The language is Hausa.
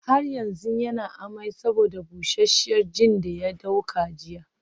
Har yanzu yana amai saboda busasshiyar gin daya dauka jiya